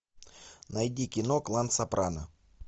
найди кино клан сопрано